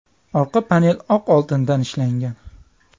Orqa panel oq oltindan ishlangan.